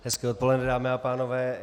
Hezké odpoledne, dámy a pánové.